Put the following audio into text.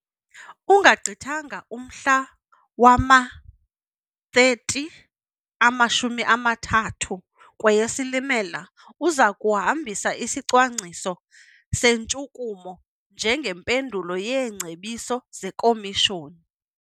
Ungagqithanga umhla wama-30, amashumi amathathu, kweyeSilimela, uza kuhambisa isicwangciso sentshukumo njengempendulo yeengcebiso zeKomishoni.